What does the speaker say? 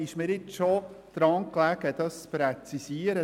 Es liegt mir daran, diesen Rückweisungsantrag zu präzisieren.